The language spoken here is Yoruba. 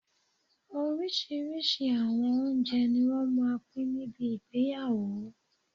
Oríṣiríṣi awọn oúnjẹ ni wọ́n máà ń pín níbi ìgbéyàwó